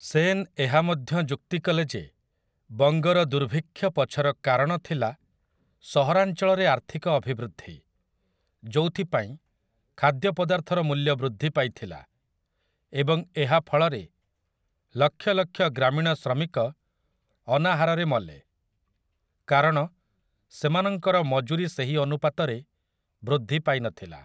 ସେନ୍ ଏହା ମଧ୍ୟ ଯୁକ୍ତି କଲେ ଯେ ବଙ୍ଗର ଦୁର୍ଭିକ୍ଷ ପଛର କାରଣ ଥିଲା ସହରାଞ୍ଚଳରେ ଆର୍ଥିକ ଅଭିବୃଦ୍ଧି, ଯୋଉଥିପାଇଁ ଖାଦ୍ୟ ପଦାର୍ଥର ମୂଲ୍ୟ ବୃଦ୍ଧି ପାଇଥିଲା, ଏବଂ ଏହା ଫଳରେ ଲକ୍ଷ ଲକ୍ଷ ଗ୍ରାମୀଣ ଶ୍ରମିକ ଅନାହାରରେ ମଲେ, କାରଣ ସେମାନଙ୍କର ମଜୁରୀ ସେହି ଅନୁପାତରେ ବୃଦ୍ଧି ପାଇନଥିଲା ।